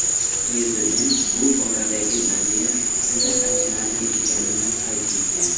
Prezident bu boradagi vaziyat juda achinarli ekanini qayd etgan.